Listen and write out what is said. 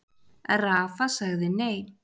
Rafa sagði nei.